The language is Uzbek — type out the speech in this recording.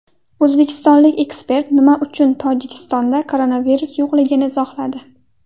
O‘zbekistonlik ekspert nima uchun Tojikistonda koronavirus yo‘qligini izohladi.